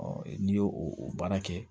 n'i y'o o baara kɛ